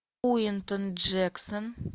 куинтон джексон